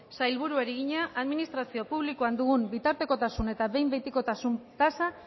sailburuari egina administrazio publikoan dugun bitartekotasun eta behin behinekotasun tasa